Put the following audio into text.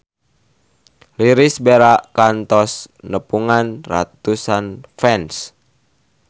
Irish Bella kantos nepungan ratusan fans